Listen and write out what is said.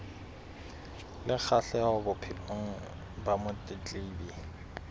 le kgahleho bophelong ba motletlebi